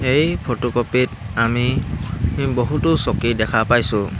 এই ফটোকপি ত আমি বহুতো চকী দেখা পাইছোঁ।